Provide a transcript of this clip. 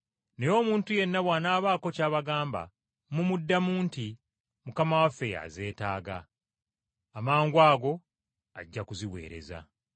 Naye omuntu yenna bw’anaabaako ky’abagamba, mumuddamu nti, ‘Mukama waffe y’azeetaaga,’ amangwago ajja kuziweereza.”